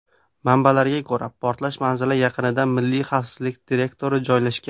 Manbalarga ko‘ra, portlash manzili yaqinida Milliy xavfsizlik direktorati joylashgan.